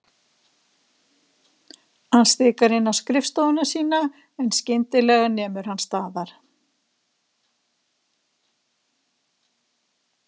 Hann stikar inn á skrifstofuna sína en skyndi- lega nemur hann staðar.